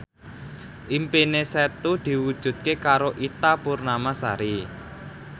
impine Setu diwujudke karo Ita Purnamasari